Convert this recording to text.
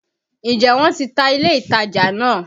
Ǹjẹ́ wọ́n ti ta ilé-ìtajà naa?